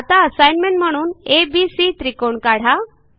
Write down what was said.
आता असाईनमेंट म्हणून एबीसी त्रिकोण काढा